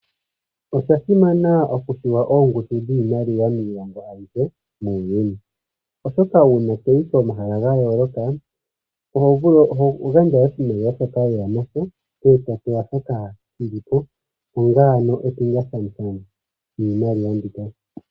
Osha simana okupewa oongudu dhiimaliwa miilongo ayihe muuyuni, oshoka ngele toyi komahala ga yooloka, oho gandja oshimaliwa shoka weya nasho, e topewa shoka shilipo, knga epingakanitho lyiimaliwa mbika.